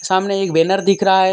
सामने एक बैनर दिख रहा है।